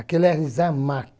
Aquilo é isamaq.